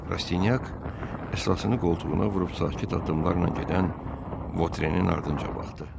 Rastinyak əsasını qoltuğuna vurub sakit addımlarla gedən Votrenin ardınca baxdı.